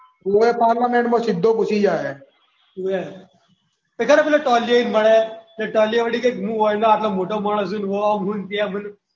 હોવે પાર્લામેન્ટમાં સીધો ઘૂસી જાય હે. હોવે ખબર છે. ટોલિયો એક મળે ને ટોલિયો વળી કે હું એનો આટલો મોટો માણસ છું ઓમ હું તેમ હું.